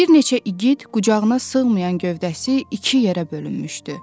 Bir neçə igid qucağına sığmayan gövdəsi iki yerə bölünmüşdü.